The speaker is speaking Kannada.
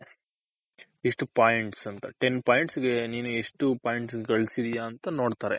ಎಷ್ಟ್ points ten points ಗೆ ನೀನ್ ಎಷ್ಟ್ points ನ ಗಳಿಸಿದ್ಯ ಅಂತ ನೋಡ್ತಾರೆ.